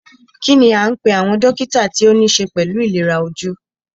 Kínní a ń pé àwọn dókítà tí o níṣe pẹlú ìlera ojú?